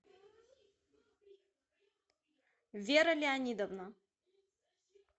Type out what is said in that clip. вера леонидовна